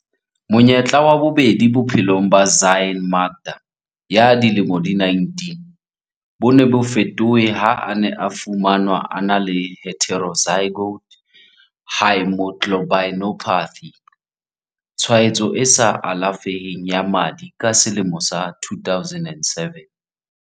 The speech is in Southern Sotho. Monyetla wa bobedi bophelongBophelo ba Zyaan Makda ya dilemo di 19 bo ne bo fetohe ha a ne a fumanwa a na le heterozygote haemoglobinopathy, tshwaetso e sa alafeheng ya madi ka selemo sa 2007.